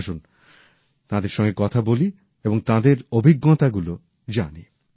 আসুন তাঁদের সঙ্গে কথা বলি এবং তাঁদের অভিজ্ঞতাগুলি জানি